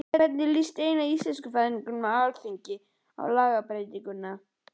En hvernig líst eina íslenskufræðingnum á Alþingi á lagabreytinguna?